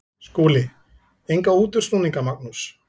SKÚLI: Enga útúrsnúninga, Magnús.